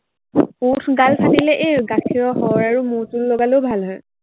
ওঠ গাল ফাটিলে এৰ গাখীৰৰ সৰ আৰু মৌজুল লগালেও ভাল হয়।